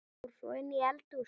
Fór svo inn í eldhús.